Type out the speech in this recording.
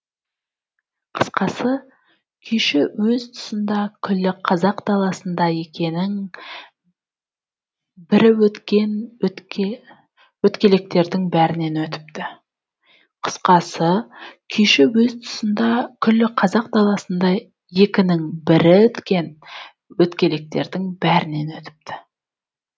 қысқасы күйші өз тұсында күллі қазақ даласында екінің бірі өткен өткелектердің бәрінен өтіпті қысқасы күйші өз тұсында күллі қазақ даласында екінің бірі өткен өткелектердің бәрінен өтіпті